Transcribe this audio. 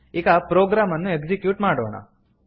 ಈಗ ಪ್ರೊಗ್ರಾಮ್ ಅನ್ನು ಎಕ್ಸಿಕ್ಯೂಟ್ ಮಾಡೋಣ